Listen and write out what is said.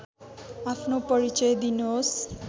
आफ्नो परिचय दिनुहोस्